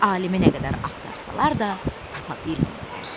Alimi nə qədər axtarsalar da, tapa bilmirlər.